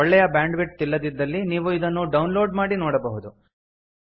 ಒಳ್ಳೆಯ bandwidth ಇಲ್ಲದಿದ್ದಲ್ಲಿ ನೀವು ಇದನ್ನು ಡೌನ್ ಲೋಡ್ ಮಾಡಿ ನೋಡಬಹುದು